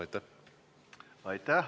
Aitäh!